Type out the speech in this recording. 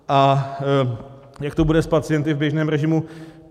A jak to bude s pacienty v běžném režimu?